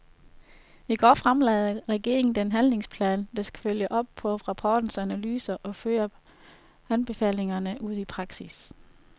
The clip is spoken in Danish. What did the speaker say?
I går fremlagde regeringen den handlingsplan, der skal følge op på rapportens analyser og føre anbefalingerne ud i praksis.